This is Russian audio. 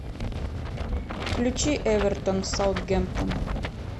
включи эвертон саутгемптон